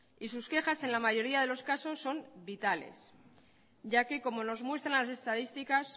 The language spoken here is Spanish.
y sus quejas en la mayoría de los casos son vitales ya que como nos muestran las estadísticas